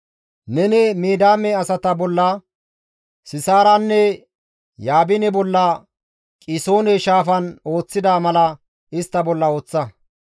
Neni Midiyaame asata bolla, Sisaaranne Yaabine bolla Qisoone Shaafan ooththida mala istta bolla ooththa.